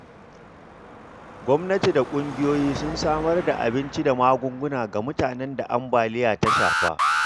Gwamnati da kungiyoyi sun samar da abinci da magunguna ga mutanen da ambaliya ta shafa.